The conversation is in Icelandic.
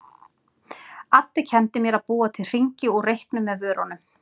Addý kenndi mér að búa til hringi úr reyknum með vörunum.